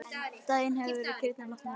Daginn eftir voru kýrnar látnar út.